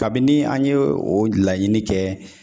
Kabini an ye o laɲini kɛ